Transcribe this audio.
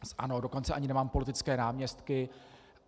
Dokonce ani nemám politické náměstky.